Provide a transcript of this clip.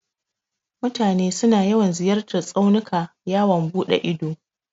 Mutane suna yawan ziyartan tsaunuka yawon buɗe ido.